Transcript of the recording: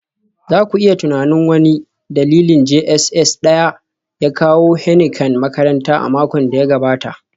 za ku iya tunanin, wani dalibin JSS Daya ya kawo Heineken makaranta a makon da ya gabata